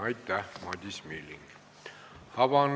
Aitäh, Madis Milling!